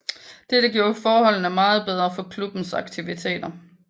Dette gjorde forholdene meget bedre for klubbens aktiviteter